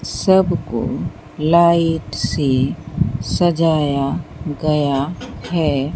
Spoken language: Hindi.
सबको लाइट से सजाया गया है।